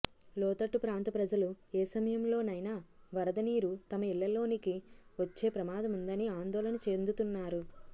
లోతట్టు ప్రాంత ప్రజలు ఏ సమయంలోనైనా వరద నీరు తమ ఇళ్లలోనికి వచ్చే ప్రమాదముందని ఆందోళన చెందుతున్నారు